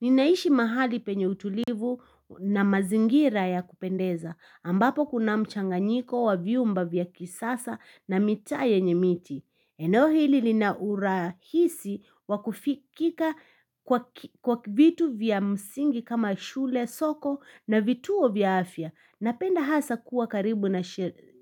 Ninaishi mahali penye utulivu na mazingira ya kupendeza, ambapo kuna mchanganyiko wa viumba vya kisasa na mita yenye miti. Eno hili linaurahisi wakufikika kwa vitu vya msingi kama shule soko na vituo vya afya, napenda hasa kuwa karibu na